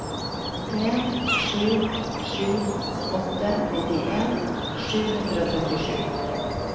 en sju sju åtte nittien sju hundre og trettisju